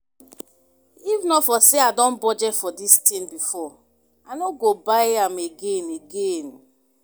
If not for say I don budget for dis thing before I no go buy am again again